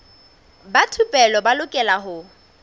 ba thupelo ba lokela ho